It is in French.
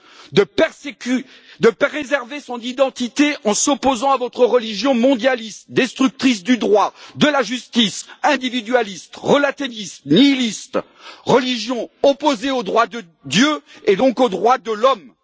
Vous lui reprochez de préserver son identité en s'opposant à votre religion mondialiste, destructrice du droit, de la justice, individualiste, relativiste, nihiliste, religion opposée au droit de Dieu et donc aux droits de l'homme.